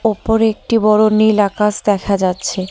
ওপরে একটি বড় নীল আকাশ দেখা যাচ্ছে।